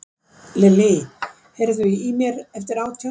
Lillí, heyrðu í mér eftir átján mínútur.